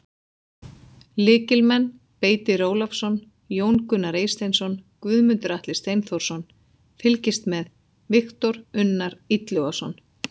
Lykilmenn: Beitir Ólafsson, Jón Gunnar Eysteinsson, Guðmundur Atli Steinþórsson: Fylgist með: Viktor Unnar Illugason.